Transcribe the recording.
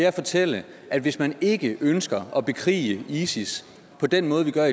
at fortælle at hvis man ikke ønsker at bekrige isis på den måde vi gør